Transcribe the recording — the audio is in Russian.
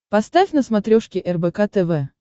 поставь на смотрешке рбк тв